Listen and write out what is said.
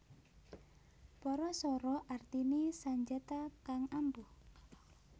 Parasara artiné sanjata kang ampuh